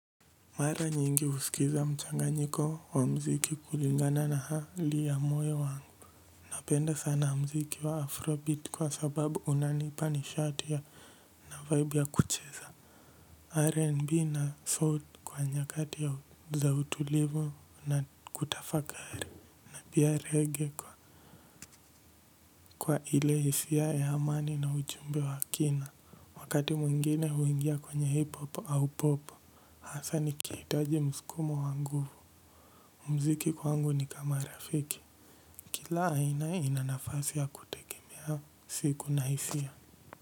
Mara nyingi usikiza mchanganyiko wa mziki kulingana na hali ya moyo wangu. Napenda sana mziki wa afrobeat kwa sababu unanipa nishati ya na vibe ya kucheza R&B na soul kwa nyakati ya za utulivu na kutafakari. Pia reggae kwa ile hisia ya amani na ujumbe wa kina. Wakati mwingine huingia kwenye hip hop au pop. Hasa nikiitaji mskumo wa nguvu. Mziki kwangu ni kama rafiki. Kila aina ina nafasi ya kutegemea siku na hisia.